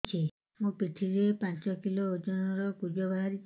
ମୋ ପିଠି ରେ ପାଞ୍ଚ କିଲୋ ଓଜନ ର କୁଜ ବାହାରିଛି